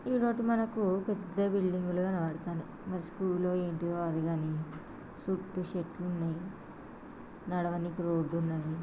ఇదోటి మనకు పెద్ద బిల్డింగ్ లు కనబడుతునాయి మరి స్కూల్ అంటిదో అది గని చుట్టూ చెట్లు ఉన్నాయ్ నడవనికి రోడ్ ఉన్నది.